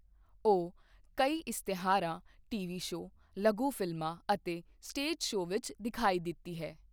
ਉਹ ਕਈ ਇਸ਼ਤਿਹਾਰਾਂ, ਟੀਵੀ ਸ਼ੋਅ, ਲਘੂ ਫ਼ਿਲਮਾਂ ਅਤੇ ਸਟੇਜ ਸ਼ੋਅ ਵਿੱਚ ਦਿਖਾਈ ਦਿੱਤੀ ਹੈ।